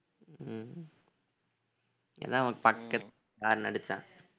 உம் horn அடிச்சான்